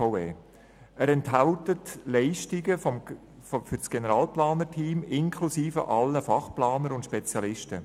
Er enthält Leistungen für das Team der Generalplaner inklusive aller Fachplaner und Spezialisten.